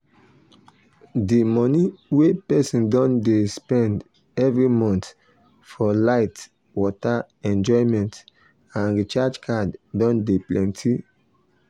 d money wey person dey spend every month for light water enjoyment and recharge card don de plenty